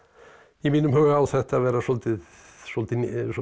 í mínum huga á þetta að vera svolítið svolítið